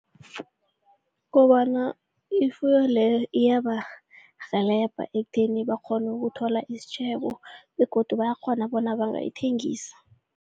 Kobana ifuyo leyo iyabarhelebha ekutheni bakghone ukuthola isitjhebo begodu bayakghona bona bangayithengisa.